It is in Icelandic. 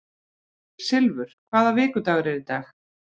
Silfur, hvaða vikudagur er í dag?